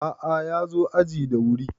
a`a ya zo aji da wuri